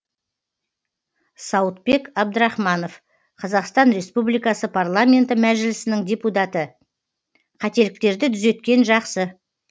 сауытбек абдрахманов қазақстан республикасы парламенті мәжілісінің депутаты қателіктерді түзеткен жақсы